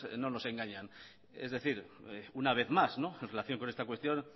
no nos engañan es decir una vez más en relación con esta cuestión